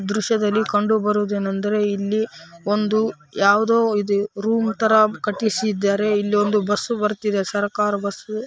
ಈ ದೃಶ್ಯದಲ್ಲಿ ಕಂಡು ಬರುವುದೇನೆಂದರೆ ಇಲ್ಲಿ ಒಂದು ಯಾವುದೋ ರೂಮ್‌ ತರ ಕಟ್ಟಿಸಿದ್ದಾರೆ ಇಲ್ಲಿ ಒಂದು ಬಸ್‌ ಬರುತ್ತಿದೆ ಸರ್ಕಾರಿ ಬಸ್ಸು .